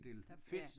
Der ja